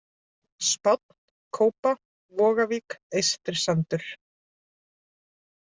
Spánn, Kópa, Vogavík, Eystrisandur